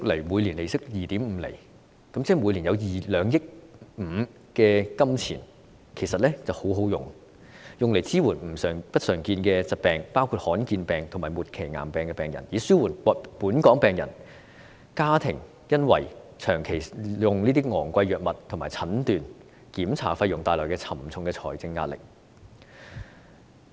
每年利息 2.5 厘，即每年有2億 5,000 萬元，其實真的很好，可用來支援不常見疾病的病人，以紓緩本港病人及其家庭因為長期使用昂貴藥物及負擔診斷和檢查費用而帶來的沉重財政壓力。